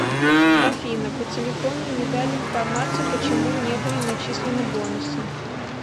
афина по телефону не дали информацию почему не были начислены бонусы